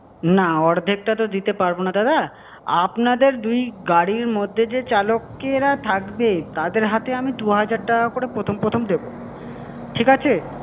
না অর্ধেকটা তো দিতে পারবো না দাদা। আপনাদের দুই গাড়ির মধ্যে যে চালকেরা থাকবে, তাদের হাতে আমি দু-হাজার টাকা করে প্রথম-প্রথম দেবো। ঠিক আছে?